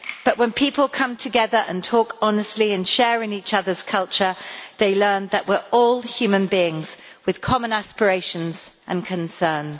But when people come together and talk honestly and share in each other's culture they learn that we are all human beings with common aspirations and concerns.